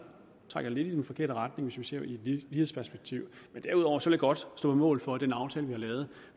trækker lidt i den forkerte retning hvis vi ser i et lighedsperspektiv men derudover vil jeg godt stå på mål for at den aftale vi har lavet